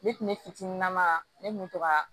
Ne tun ne fitininama ne kun mi to ka